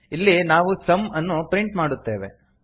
ಇಲ್ಲಿ ನಾವು ಸಮ್ ಅನ್ನು ಪ್ರಿಂಟ್ ಮಾಡುತ್ತೇವೆ